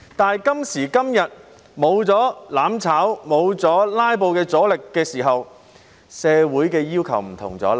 但今時今日，沒有了"攬炒派"、沒有了"拉布"的阻力的時候，社會的要求便有所不同了。